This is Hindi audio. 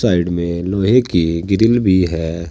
साइड में लोहे की ग्रिल भी है।